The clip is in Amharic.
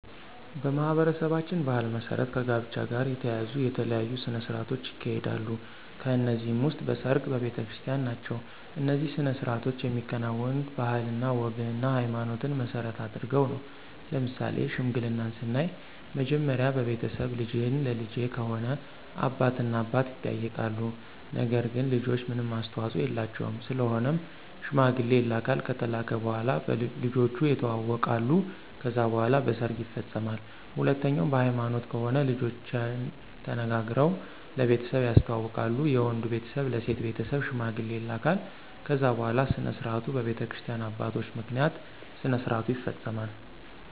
በማኅበረሰባችን ባሕል መሠረት ከጋብቻ ጋር የተያያዙ የተለያዩ ሥነ ሥርዓቶች ይካሄዳሉ ከነዚህም ውስጥ በሰርግ፣ በቤተክርስቲን ናቸው። እነዚህ ሥነ ሥርዓቶች የሚከናወኑት ባህልና ወግንና ሀይማኖትን መሰረት አድርገው ነው። ለምሳሌ ሽምግልናን ስናይ መጀመሪያ በቤተሰብ ልጅህን ለልጀ ከሆነ አባት እና አባት ይጠያይቃሉ ነገር ግን ልጆች ምንም አስተዋፆ የላቸውም ስለሆነም ሽማግሌ ይላካል ከተላከ በኋላ ልጆቹ የተዋወቃሉ ከዛ በኋላ በሰርግ ይፈፀማል። ሁለተኛው በሀይማኖት ከሆነ ልጆችና ተነጋግረው ለቤተሰብ ያስተዋውቃሉ የወንዱ ቤተሰብ ለሴት ቤተሰብ ሽማግሌ ይላካል ከዛ በኋላ ስነስርዓቱ በቤተክርስቲያ አባቶች ምክንያት ስነስርዓቱ ይፈፀማል።